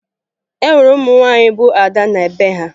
E nwere ụmụ nwaanyị bụ ada na be ha